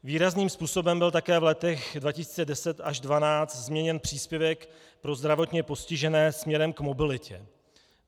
Výrazným způsobem byl také v letech 2010 až 2012 změněn příspěvek pro zdravotně postižené směrem k mobilitě.